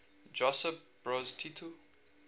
josip broz tito